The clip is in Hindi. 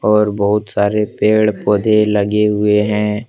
और बहुत सारे पेड़ पौधे लगे हुए हैं।